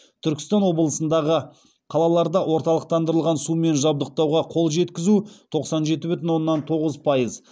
түркістан облысындағы қалаларда орталықтандырылған сумен жабдықтауға қол жеткізу тоқсан жеті бүтін оннан тоғыз пайыз